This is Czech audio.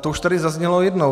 to už tady zaznělo jednou.